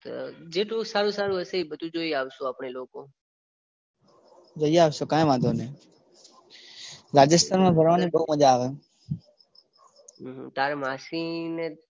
જેટલું સારું સારું હસે એ બધું જોઈ આવીશું આપણે લોકો. જઈ આવીશું કઈ વાંધો નઇ. રાજસ્થાનમાં ફરવાની બઉ મજા આવે. તારા માસી ને.